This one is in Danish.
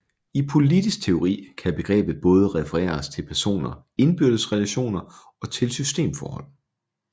I politisk teori kan begrebet både referere til personers indbyrdes relationer og til systemforhold